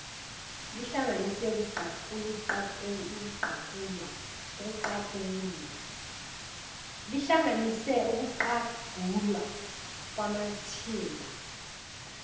lihlanganise ukuqagulwa kwamathimba